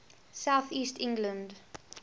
south east england